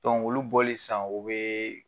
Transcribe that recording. olu bɔlen san o ye